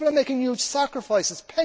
People are making huge sacrifices.